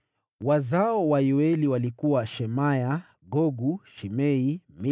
Wazao wa Yoeli walikuwa: Shemaya mwanawe, Gogu mwanawe; Shimei mwanawe,